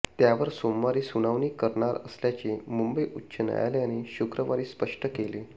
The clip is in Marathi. त्यावर सोमवारी सुनावणी करणार असल्याचे मुंबई उच्च न्यायालयाने शुक्रवारी स्पष्ट केले